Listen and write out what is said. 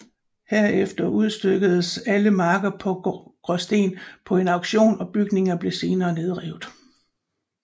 Herefter udstykkedes alle marker fra Gråsten på en auktion og bygningerne blev senere nedrevet